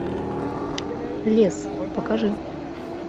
лес покажи